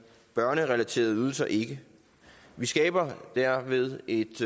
børnerelaterede ydelser ikke vi skaber derved et